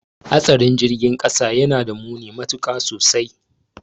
Hatsarin girgin kasa yanada muni matuka sosai